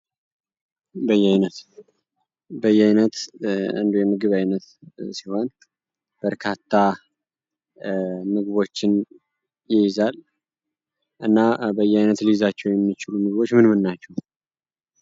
በያይነት በያይነት አንዱ የምግብ ዓይነት ሲሆን፤ በርካታ ምግቦችን ይይዛል። እና በያይነት ልይዛቸው የሚችሉ ምግቦች ምን ምን ናቸው?